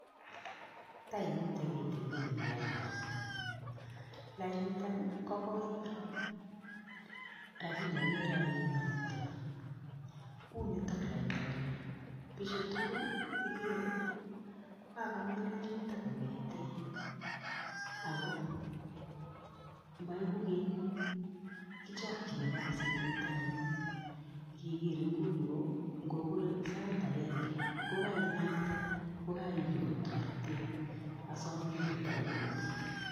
Teimuite kitikin eng lainda lainitak ii kokoi Iman lakini akere ale inoktoi, unitok lainda kila biju tukul ii ikere kokakomin lainit kongeten, ako moiku Keny, kijokchini kasit eng tai Yun, kikir inguni komure sait akenge kokai naktei, kokainyoru toteret, asomin kotai muite.